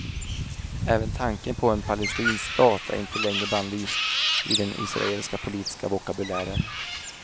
Även tanken på en palestinsk stat är inte längre bannlyst i den israeliska politiska vokabulären.